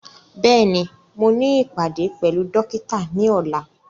Bẹ́ẹ̀ni, mo ní ìpàdé pẹ̀lú dókítà ní ọ̀la